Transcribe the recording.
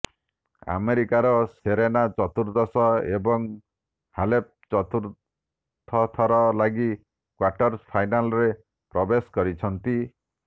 ଆମେରିକାର ସେରେନା ଚର୍ତୁଦଶ ଏବଂ ହାଲେପ ଚତୁର୍ଥ ଥର ଲାଗି କ୍ବାର୍ଟର୍ ଫାଇନାଲ୍ରେ ପ୍ରବେଶ କରିଛନ୍ତି